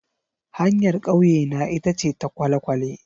Hanyar kauyena ita ce ta kwale-kwale.